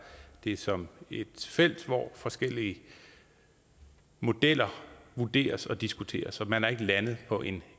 det som et felt hvor forskellige modeller vurderes og diskuteres og man er ikke landet på en